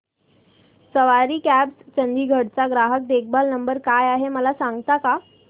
सवारी cabs Chandigarh चा ग्राहक देखभाल नंबर काय आहे मला सांगता का